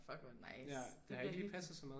Fuck hvor nice. Det bliver hyggeligt